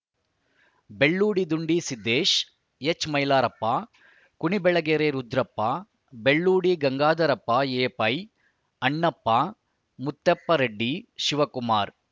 Belludi Dundi Siddesh ಎಚ್‌ಮೈಲಾರಪ್ಪ ಕುಣಿಬೆಳೆಗೆರೆ Rudrappa Belludi Gangadharappa A pi Annappa ಮತ್ತೆಪ್ಪ Reddy Shivakumar